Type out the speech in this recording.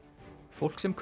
fólk sem